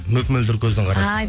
мөп мөлдір көздің